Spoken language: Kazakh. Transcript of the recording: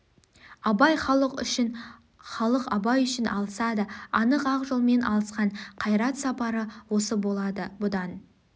абай халық үшін халық абай үшін алысады анық ақ жолмен алысқан қайрат сапары осы болады бұдан